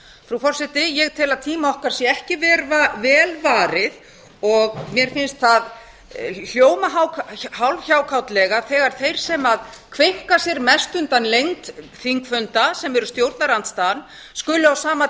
frú forseti ég tel að tíma okkar sé ekki vel varið og mér finnst það hljóma hálf hjákátlega þegar þeir sem kveinka sér mest undan lengd þingfunda sem eru stjórnarandstaðan skuli á sama